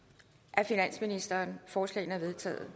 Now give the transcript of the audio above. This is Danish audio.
af finansministeren forslagene er vedtaget